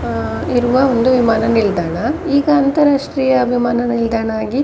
ಅಹ್ ಇರುವ ಒಂದು ವಿಮಾನ ನಿಲ್ದಾಣ ಈಗ ಅಂತರರಾಷ್ಟ್ರೀಯ ವಿಮಾನ ನಿಲ್ದಾಣ ಆಗಿ --